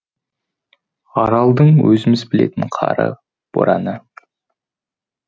аралдың өзіміз білетін қары бораны